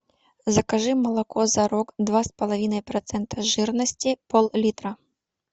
закажи молоко зарог два с половиной процента жирности пол литра